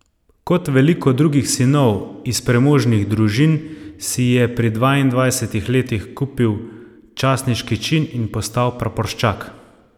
Kot veliko drugih sinov iz premožnih družin si je pri dvaindvajsetih letih kupil častniški čin in postal praporščak.